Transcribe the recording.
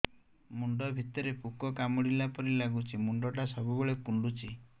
ମୁଣ୍ଡ ଭିତରେ ପୁକ କାମୁଡ଼ିଲା ପରି ଲାଗୁଛି ମୁଣ୍ଡ ଟା ସବୁବେଳେ କୁଣ୍ଡୁଚି